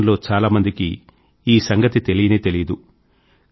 దేశం లో చాలామందికి ఈ సంగతి తెలియనే తెలియదు